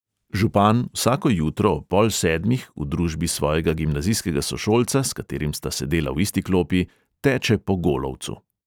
Župan vsako jutro ob pol sedmih v družbi svojega gimnazijskega sošolca, s katerim sta sedela v isti klopi, teče po golovcu.